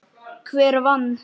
Hver vann?